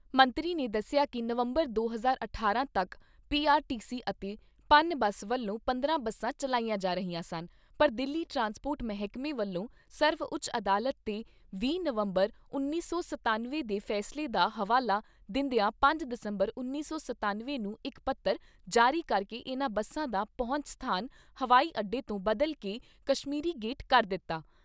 ਮੰਤਰੀ ਨੇ ਦੱਸਿਆ ਕਿ ਨਵੰਬਰ ਦੋ ਹਜ਼ਾਰ ਅਠਾਰਾਂ ਤੱਕ ਪੀ ਆਰ ਟੀ ਸੀ ਅਤੇ ਪਨ ਬੱਸ ਵਲੋਂ ਪੰਦਰਾਂ ਬੱਸਾਂ ਚੱਲਾਈਆਂ ਜਾ ਰਹੀਆਂ ਸਨ ਪਰ ਦਿੱਲੀ ਟਰਾਂਸਪੋਰਟ ਮਹਿਕਮੇ ਵਲੋਂ ਸਰਵਉਚ ਅਦਾਲਤ ਦੇ ਵੀਹ ਨਵੰਬਰ ਉੱਨੀ ਸੌ ਸਤੱਨਵੇਂ ਦੇ ਫੈਸਲੇ ਦਾ ਹਵਾਲਾ ਦਿੰਦਿਆਂ ਪੰਜ ਦਸੰਬਰ ਉਨੀ ਸੌ ਸਤੱਨਵੇਂ ਨੂੰ ਇੱਕ ਪਤਰ ਜਾਰੀ ਕਰਕੇ ਇਨ੍ਹਾਂ ਬੱਸਾਂ ਦਾ ਪਹੁੰਚ ਸਥਾਨ ਹਵਾਈ ਅੱਡੇ ਤੋਂ ਬਦਲ ਕੇ ਕਸ਼ਮੀਰੀ ਗੇਟ ਕਰ ਦਿੱਤਾ।